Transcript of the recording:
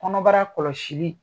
Kɔnɔbara kɔlɔsili